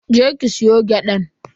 Je ki ki soya gyadan.